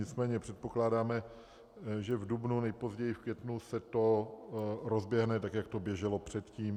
Nicméně předpokládáme, že v dubnu, nejpozději v květnu, se to rozběhne, tak jak to běželo předtím.